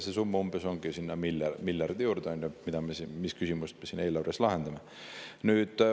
See summa ongi miljardi juures ja seda küsimust me siin eelarves lahendame.